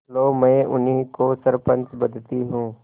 लो मैं उन्हीं को सरपंच बदती हूँ